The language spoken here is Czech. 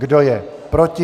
Kdo je proti?